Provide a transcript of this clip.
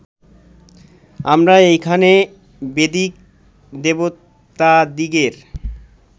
আমরা এইখানে বৈদিক দেবতাদিগের